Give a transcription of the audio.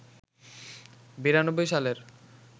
৯২ সালের